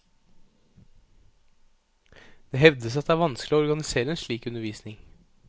Det hevdes at det er vanskelig å organisere en slik undervisning.